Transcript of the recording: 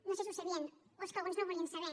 no sé si ho sabien o és que alguns no ho volien saber